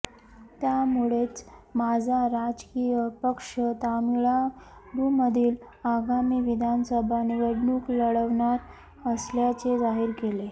त्यामुळेच माझा राजकीय पक्ष तामिळनाडूमधील आगामी विधानसभा निवडणूक लढवणार असल्याचे जाहीर केले